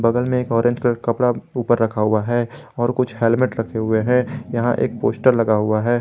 बगल में एक ऑरेंज कलर का कपड़ा ऊपर रखा हुआ है और कुछ हेलमेट रखे हुए हैं यहां एक पोस्टर लगा हुआ है।